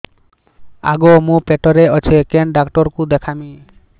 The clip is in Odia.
ଆଗୋ ମୁଁ ପେଟରେ ଅଛେ କେନ୍ ଡାକ୍ତର କୁ ଦେଖାମି